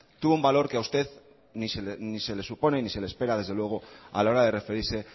tuvo un valor que a usted ni se le supone ni se le espera desde luego a la hora de referirse